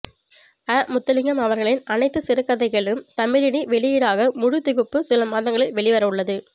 அ முத்துலிங்கம்அவர்களின் அனைத்து சிறுகதைகளும் தமிழினி வெளியீடாக முழுத்திகுப்பு சில மாதங்களில் வெளிவரவுள்ளது